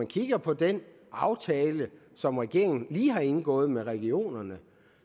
kigger på den aftale som regeringen lige har indgået med regionerne